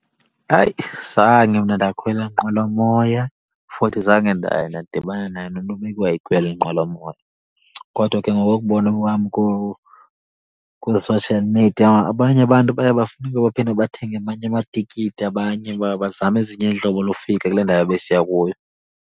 Hayi, zange mna ndakhwela nqwelomoya futhi zange ndaye ndadibana naye nomntu obeke wayikhwela inqwelomoya. Kodwa ke ngokokubona kwam kwi-social media, abanye abantu baye bafuneke baphinde bathenge amanye amatikiti abanye uba bazame ezinye iintlobo lofika kule ndawo ebesiya kuyo.